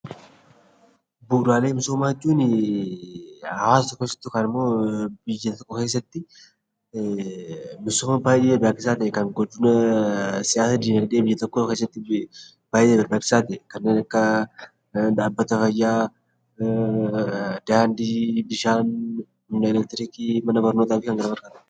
Bu'uuraalee misoomaa jechuun hawaasa tokko keessatti yookaan immoo biyya tokko keessatti misooma baay'ee barbaachisaa ta'e kan guddina siyaasa, dinagdee biyya tokkoo keessatti baay'ee barbaachisaa ta'e kanneen akka dhaabbata fayyaa, daandii, bishaan, humna elektirikii, mana barnootaa fi kan kana fakkaatanidha.